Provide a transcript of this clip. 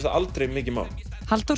það aldrei mikið mál Halldór